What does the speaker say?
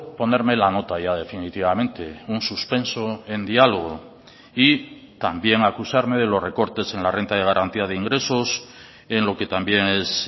ponerme la nota ya definitivamente un suspenso en diálogo y también acusarme de los recortes en la renta de garantía de ingresos en lo que también es